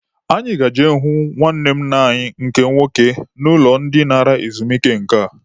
Anyị ga-eje hụ nwanne nna anyị nke nwoke n'ụlọ dị nara ezumike nka.